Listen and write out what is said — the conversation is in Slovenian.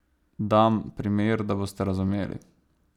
Dam primer, da boste razumeli.